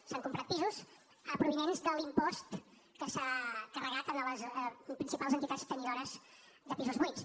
s’han comprat pisos provinents de l’impost que s’ha carregat a les principals entitats tenidores de pisos buits